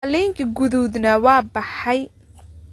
Qalinkii guduudnaa waa baxay